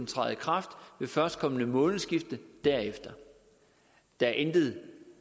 træder i kraft ved førstkommende månedsskifte derefter der er intet